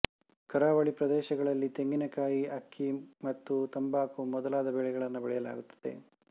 ಕರಾವಳಿ ಪ್ರದೇಶಗಳಲ್ಲಿ ತೆಂಗಿನಕಾಯಿ ಅಕ್ಕಿ ಮತ್ತು ತಂಬಾಕು ಮೊದಲಾದ ಬೆಳೆಗಳನ್ನು ಬೆಳೆಯಲಾಗುತ್ತದೆ